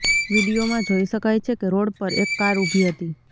વિડીયોમાં જોઈ શકાય છે કે રોડ પર એક કાર ઊભી હતી